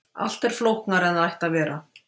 allt er flóknara en það ætti að vera